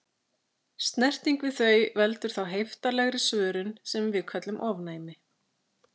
Snerting við þau veldur þá heiftarlegri svörun sem við köllum ofnæmi.